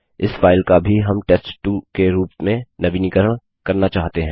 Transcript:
इस फाइल का भी हम टेस्ट2 के रूप में नवीनीकरण करना चाहते हैं